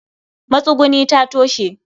matsuguni ta toshe